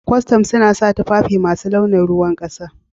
Kwastam suna sa tufafi masu launin ruwan kasa.